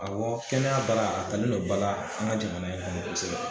Awɔ kɛnɛya baara, a talen do bala an ka jamana in kɔnɔ kosɛbɛ.